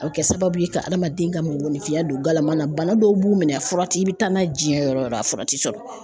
A bɛ kɛ sababu ye ka adamaden ka mɔgɔninfinya don galama na bana dɔw b'u minɛ a fura tɛ i bi taa n'a ye diɲɛ yɔrɔ la a fura ti sɔrɔ